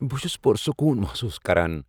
بہٕ چھس پُرسکون محسوس کران